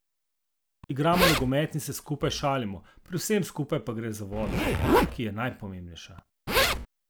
Igramo nogomet in se skupaj šalimo, pri vsem skupaj pa gre za vodo, ki je najpomembnejša.